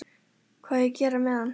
Hvað á ég að gera með hann?